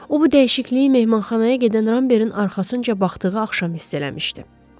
O bu dəyişikliyi mehmanxanaya gedən Rammerin arxasınca baxdığı axşam hiss eləmişdi.